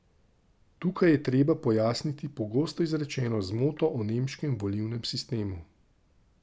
Tukaj je treba pojasniti pogosto izrečeno zmoto o nemškem volilnem sistemu.